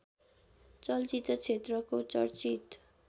चलचित्र क्षेत्रको चर्चित